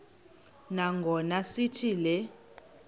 nangona sithi le